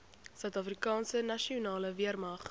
suidafrikaanse nasionale weermag